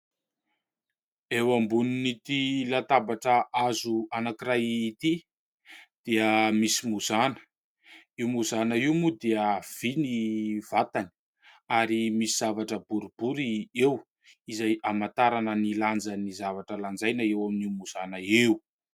Eo ambonin'ity latabatra hazo anankiray ity dia misy mozana. Io mozana io moa dia vy ny vatany ary misy zavatra boribory eo izay hamantarana ny lanjan'ny zavatra lanjaina eo amin'io mozana io.